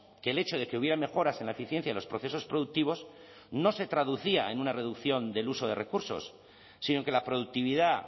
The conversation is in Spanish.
que el hecho de que hubiera mejoras en la eficiencia de los procesos productivos no se traducía en una reducción del uso de recursos sino que la productividad